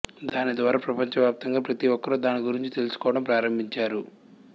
దాని ద్వారా ప్రపంచవ్యాప్తంగా ప్రతి ఒక్కరూ దాని గురించి తెలుసుకోవడం ప్రారంభించారు